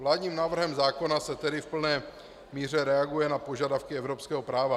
Vládním návrhem zákona se tedy v plné míře reaguje na požadavky evropského práva.